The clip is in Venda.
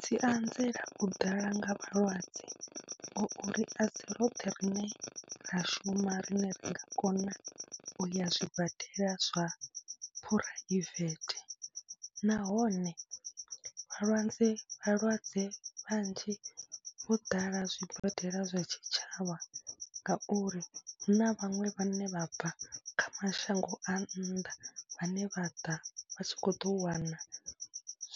Dzi anzela u ḓala nga vhalwadze ngauri a si roṱhe rine ra shuma rine ri nga kona u ya zwibadela zwa phuraivethe, nahone vhalwadze vhalwadze vhanzhi vho ḓala zwibadela zwa tshitshavha ngauri hu na vhaṅwe vhane vha bva kha mashango a nnḓa vhane vha ḓa vha tshi khou ḓo wana